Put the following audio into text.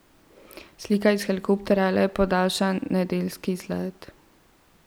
Slika iz helikopterja je le podaljšan nedeljski izlet.